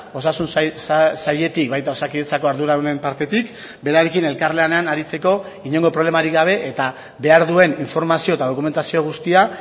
osasun sailetik baita osakidetzako arduradunen partetik berarekin elkarlanean aritzeko inongo problemarik gabe eta behar duen informazio eta dokumentazio guztia